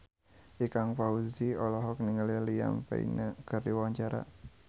Ikang Fawzi olohok ningali Liam Payne keur diwawancara